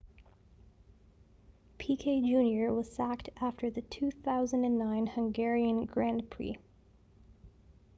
piquet jr was sacked after the 2009 hungarian grand prix